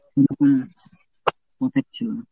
পোষাচ্ছিল না।